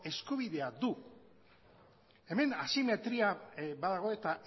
eskubidea du hemen asimetria badago eta